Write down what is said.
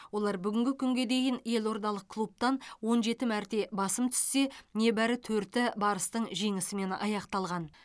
олар бүгінгі күнге дейін елордалық клубтан он жеті мәрте басым түссе небәрі төрті барыстың жеңісімен аяқталған